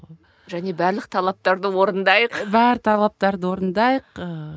және барлық талаптарды орындайық бар талаптарды орындайық ыыы